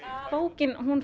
bókin